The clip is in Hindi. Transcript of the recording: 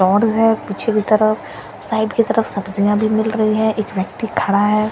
है पीछे की तरफ साइड की तरफ सब्जियां भी मिल रही हैं एक व्यक्ति खड़ा है।